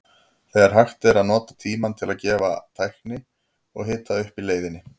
Þegar hægt er að nota tímann til að æfa tækni og hita upp í leiðinni.